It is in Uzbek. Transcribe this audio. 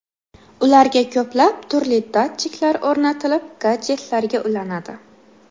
Ularga ko‘plab turli datchiklar o‘rnatilib, gadjetlarga ulanadi.